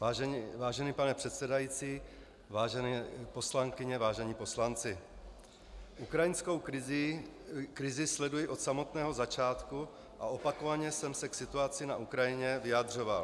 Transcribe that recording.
Vážený pane předsedající, vážené poslankyně, vážení poslanci, ukrajinskou krizi sleduji od samého začátku a opakovaně jsem se k situaci na Ukrajině vyjadřoval.